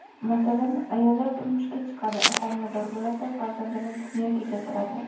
Masalan, ayollar turmushga chiqadi, homilador bo‘ladi, farzandini dunyoga keltiradi.